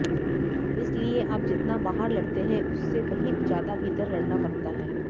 इसलिए आप जितना बाहर लड़ते हैं उससे कहीं ज़्यादा भीतर लड़ना पड़ता है